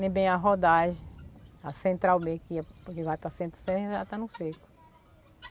Nem bem a rodagem, a central mesmo que ia, porque vai para Centro-Sé já está no seco.